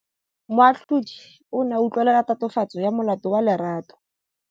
Moatlhodi o ne a utlwelela tatofatsô ya molato wa Lerato.